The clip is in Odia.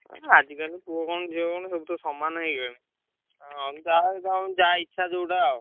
ଆଜି କାଲି ପୁଅ କଣ ଝିଅ କଣ ସବୁ ତ ସମାନ ହେଇଗଲେଣି। ହଁ ଯାହାର ଯାହା ଇଛା ଯୋଉଟା ଆଉ।